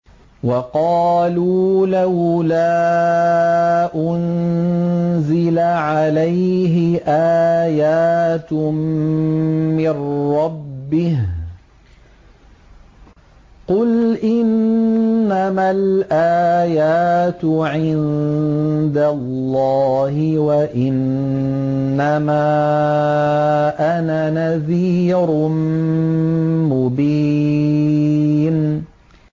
وَقَالُوا لَوْلَا أُنزِلَ عَلَيْهِ آيَاتٌ مِّن رَّبِّهِ ۖ قُلْ إِنَّمَا الْآيَاتُ عِندَ اللَّهِ وَإِنَّمَا أَنَا نَذِيرٌ مُّبِينٌ